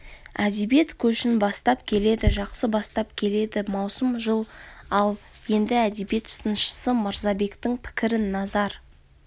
әдебиет көшін бастап келеді жақсы бастап келеді маусым жыл ал енді әдебиет сыншысы мырзабектің пікірін назар